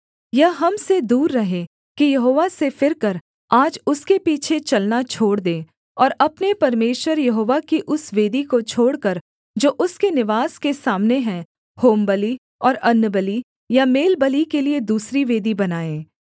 यह हम से दूर रहे कि यहोवा से फिरकर आज उसके पीछे चलना छोड़ दें और अपने परमेश्वर यहोवा की उस वेदी को छोड़कर जो उसके निवास के सामने है होमबलि और अन्नबलि या मेलबलि के लिये दूसरी वेदी बनाएँ